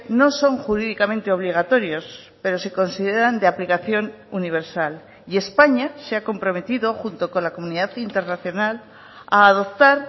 no son jurídicamente obligatorios pero se consideran de aplicación universal y españa se ha comprometido junto con la comunidad internacional a adoptar